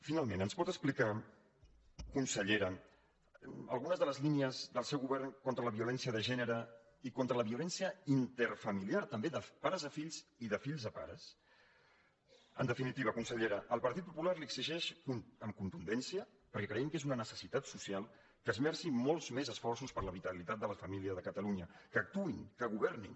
finalment ens pot explicar consellera alguna de les línies del seu govern contra la violència de gènere i contra la violència interfamiliar també dels pares a fills i de fills a pares en definitiva consellera el partit popular li exigeix amb contundència perquè creiem que és una necessitat social que esmerci molts més esforços per a la vitalitat de les famílies de catalunya que actuï que governi